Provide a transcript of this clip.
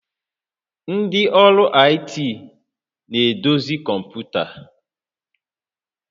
Ndị ọrụ IT na-edozi kọmpụta